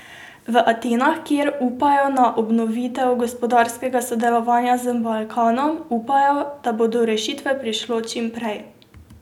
V Atenah, kjer upajo na obnovitev gospodarskega sodelovanja z Balkanom upajo, da bo do rešitve prišlo čim prej.